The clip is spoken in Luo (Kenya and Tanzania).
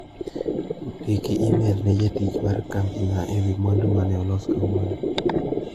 Ndiki imel ne jatich mar kambi na ewi mwandu mane okano .